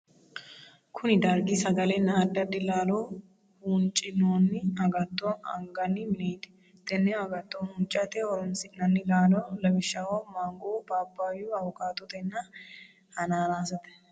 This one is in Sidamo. Kunni dargi sagalenna addi addi laallo huuncinoonni agatto aganni mineeti. Tenne agatto huuncate horoonsi'nanni laalo lawishaho maango, phaaphaayu, awukaattonna hanaanaasete.